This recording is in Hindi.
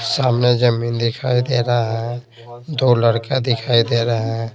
सामने जमीन दिखाई दे रहा है दो लड़का दिखाई दे रहे है।